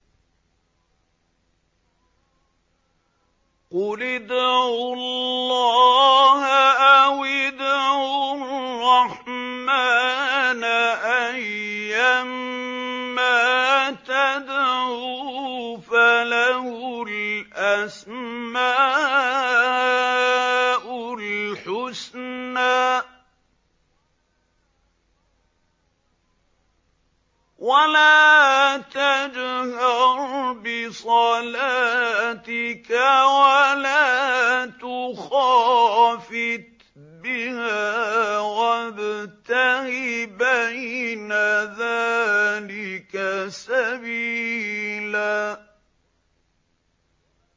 قُلِ ادْعُوا اللَّهَ أَوِ ادْعُوا الرَّحْمَٰنَ ۖ أَيًّا مَّا تَدْعُوا فَلَهُ الْأَسْمَاءُ الْحُسْنَىٰ ۚ وَلَا تَجْهَرْ بِصَلَاتِكَ وَلَا تُخَافِتْ بِهَا وَابْتَغِ بَيْنَ ذَٰلِكَ سَبِيلًا